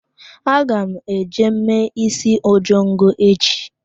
Aga m eje mee isi ojongo echi.